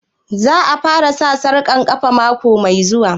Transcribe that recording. Za ta fara sa sarƙar ƙafa mako mai zuwa?